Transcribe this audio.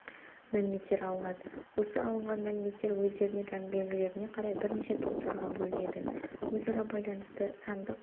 мәліметтер алынады осы алынған мәліметтер өздеріне тән белгілеріне қарай бірнеше топтарға бөлінеді өзара байланысты сандық